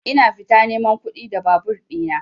Ina fita neman kuɗi da babur ɗina.